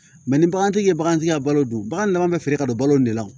ni bagantigi ye bagantigi ka balo dun bagan dama be feere ka don balo de la